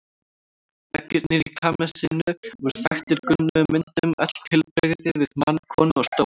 Veggirnir í kamesinu voru þaktir gulnuðum myndum, öll tilbrigði við mann, konu og stól.